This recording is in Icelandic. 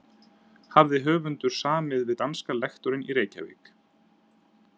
Hafði höfundur samið við danska lektorinn í Reykjavík